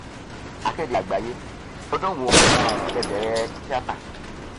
akéde àgbáyé ọdún wo um lè bẹrẹ tíátá